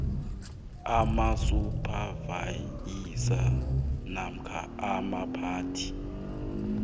amasuphavayiza namkha abaphathi